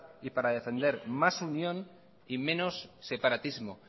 y para defender más unión y menos separatismo